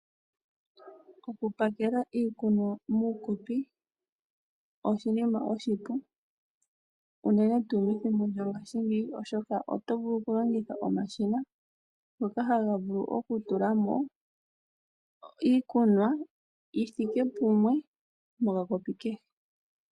Okupakela iikunwa muukopi oshinima oshipu unene tuu methimbo lyongaashingeyi oshoka oto vulu okulongitha omashina , ngoka haga vulu okutulamo iikunwa yithike pamwe mokakopi kehe.